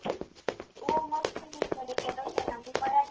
हो मग मी मध्ये केलं होतं ना.